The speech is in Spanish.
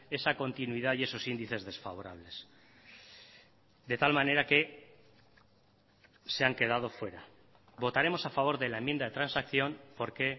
esa continuidad y esos índices desfavorables de tal manera que se han quedado fuera votaremos a favor de la enmienda de transacción porque